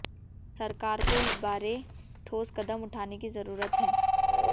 सरकार को इस बारे ठोस कदम उठाने की जरूरत है